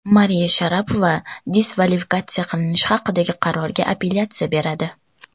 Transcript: Mariya Sharapova diskvalifikatsiya qilinishi haqidagi qarorga apellyatsiya beradi.